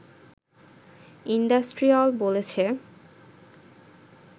IndustriALL বলেছে